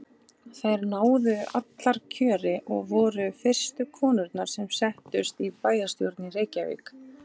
Þær náðu allar kjöri og voru fyrstu konurnar sem settust í bæjarstjórn í Reykjavík.